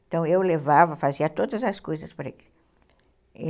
Então eu levava, fazia todas as coisas para ele.